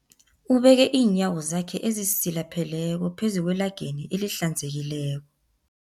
Ubeke iinyawo zakhe ezisilapheleko phezu kwelageni elihlanzekileko.